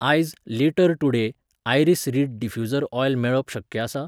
आयज, later today, iris reed diffuser oil मेळप शक्य आसा ?